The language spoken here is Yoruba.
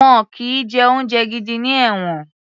Wọn kì í jẹ oúnjẹ gidi ní ẹ̀wọ̀n